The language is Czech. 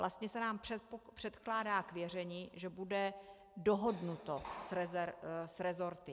Vlastně se nám předkládá k věření, že bude dohodnuto s resorty.